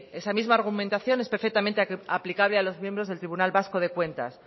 esa misma argumentación es perfectamente aplicable a los miembros del tribunal vasco de cuentas